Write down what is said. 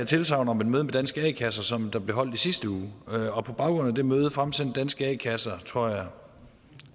tilsagn om et møde med danske a kasser som blev holdt i sidste uge og på baggrund af det møde fremsendte danske a kasser tror jeg